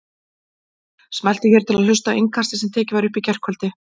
Smelltu hér til að hlusta á Innkastið sem tekið var upp í gærkvöldi